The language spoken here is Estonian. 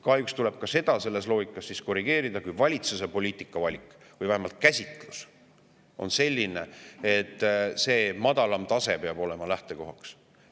Kahjuks tuleb seda korrigeerida selle loogika põhjal, et valitsuse poliitikavalik või vähemalt -käsitlus on selline, et see madalam tase peab olema lähtekohaks.